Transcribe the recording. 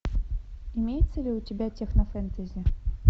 имеется ли у тебя технофэнтези